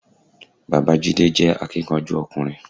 Bàbáa Jídé jé akíkanjú ọkùnrin